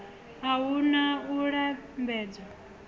a hu na u lambedzwa